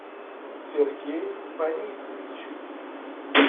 сергей фанисович